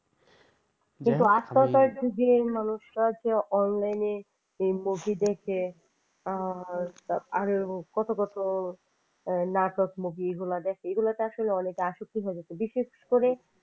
দেখুন আজকালকার যুগের মানুষরা যে online movie দেখে আরো কত কত নাটক movie এগুলা দেখে এগুলা আসলে অনেক বিশেষ করে